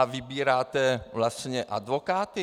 "A vybíráte vlastně advokáty?"